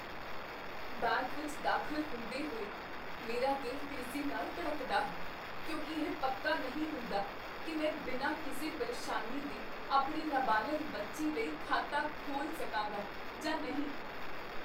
Bank ਵਿੱਚ ਦਾਖ਼ਲ ਹੁੰਦੇ ਹੋਏ, ਮੇਰਾ ਦਿਲ ਤੇਜ਼ੀ ਨਾਲ ਧੜਕਦਾ ਹੈ, ਕਿਉਂਕਿ ਇਹ ਪੱਕਾ ਨਹੀਂ ਹੁੰਦਾ ਕੀ ਮੈਂ ਬਿਨਾਂ ਕਿਸੇ ਪਰੇਸ਼ਾਨੀ ਦੇ ਆਪਣੇ ਨਾਬਾਲਗ ਬੱਚੇ ਲਈ ਖਾਤਾ ਖੋਲ੍ਹ ਸਕਾਂਗਾ ਜਾਂ ਨਹੀਂ।